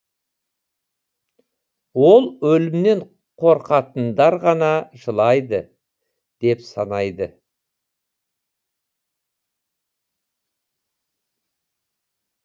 ол өлімнен қорқатындар ғана жылайды деп санайды